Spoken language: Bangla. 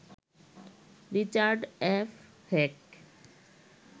Richard F Heck